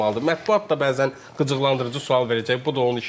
Mətbuat da bəzən qıcıqlandırıcı sual verəcək, bu da onun işidir.